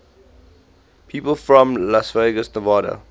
people from las vegas nevada